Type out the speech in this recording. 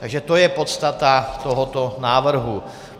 Takže to je podstata tohoto návrhu.